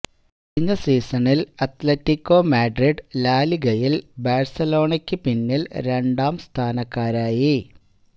കഴിഞ്ഞ സീസണില് Atletico Madrid ലാലിഗയില് ബാഴ്സണലോണയ്ക്ക് പിന്നില് രണ്ടാം സ്ഥാനക്കാരായി